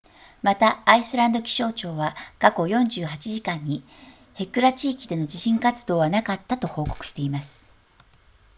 またアイスランド気象庁は過去48時間にヘクラ地域での地震活動はなかったと報告しています